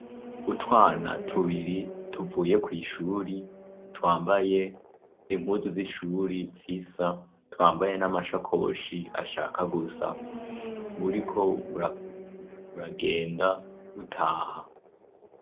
Utwana tubiri tuvuye kw'ishuri twambaye inkuzu z'ishuri zisa twambaye n'amashakoshi ashaka gusa buriko buragenda butaha.